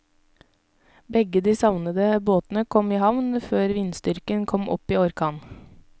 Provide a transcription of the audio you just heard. Begge de savnede båtene kom i havn før vindstyrken kom opp i orkan.